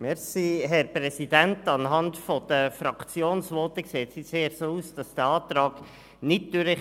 Anhand der Fraktionsvoten sieht es eher so aus, als käme dieser Antrag nicht durch.